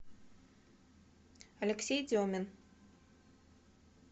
алексей демин